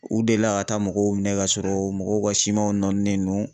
U delila ka taa mɔgɔw minɛ ka sɔrɔ mɔgɔw ka simanw nɔnin nen don